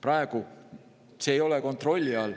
Praegu see ei ole kontrolli all.